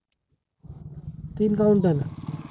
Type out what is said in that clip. तीन counter